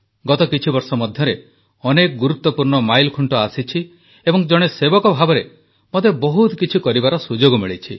ଗତ କିଛିବର୍ଷ ମଧ୍ୟରେ ଅନେକ ଗୁରୁତ୍ୱପୂର୍ଣ୍ଣ ମାଇଲଖୁଂଟ ଆସିଛି ଏବଂ ଜଣେ ସେବକ ଭାବରେ ମୋତେ ବହୁତ କିଛି କରିବାର ସୁଯୋଗ ମିଳିଛି